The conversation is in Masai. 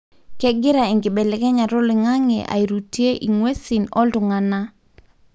kengira enkibelekenyata oloingange airutie ingwesin oltunganaa.